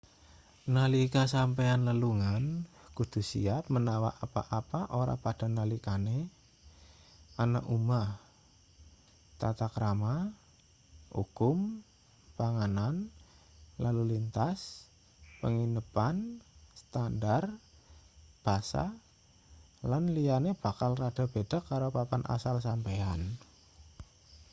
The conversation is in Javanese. nalika sampeyan lelungan kudu siap menawa apa-apa ora padha nalikane ana omah tata krama ukum panganan lalu lintas penginepan standar basa lan liyane bakal rada beda karo papan asal sampeyan